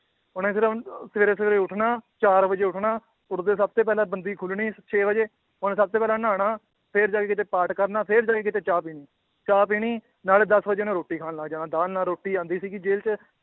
ਉਹਨੇ ਸਿਰਫ਼ ਸਵੇਰੇ ਸਵੇਰੇ ਉੱਠਣਾ ਚਾਰ ਵਜੇ ਉੱਠਣਾ, ਉੱਠਦੇ ਸਭ ਤੇ ਪਹਿਲਾਂ ਬੰਦੀ ਖੁੱਲਣੀ ਛੇ ਵਜੇ ਉਹਨੇ ਸਭ ਤੋਂ ਪਹਿਲਾਂ ਨਹਾਉਣਾ ਫਿਰ ਜਾ ਕੇ ਕਿਤੇ ਪਾਠ ਕਰਨਾ ਫਿਰ ਜਾ ਕੇ ਕਿਤੇ ਚਾਹ ਪੀਣੀ, ਚਾਹ ਪੀਣੀ ਨਾਲੇ ਦਸ ਵਜੇ ਉਹਨੇ ਰੋਟੀ ਖਾਣ ਲੱਗ ਜਾਣਾ ਦਾਲ ਨਾਲ ਰੋਟੀ ਆਉਂਦੀ ਸੀਗੀ ਜੇਲ੍ਹ 'ਚ